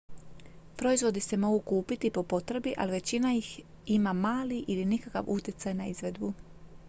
proizvodi se mogu kupiti po potrebi ali većina ih ima mali ili nikakav utjecaj na izvedbu